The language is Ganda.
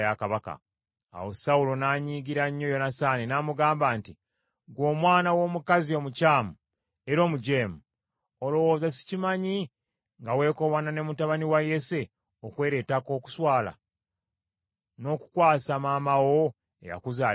Awo Sawulo n’annyiigira nnyo Yonasaani, n’amugamba nti, “Ggwe omwana w’omukazi omukyamu era omujeemu! Olowooza sikimanyi nga weekobaana ne mutabani wa Yese okweleetako okuswala, n’okukwasa maama wo eyakuzaala ensonyi?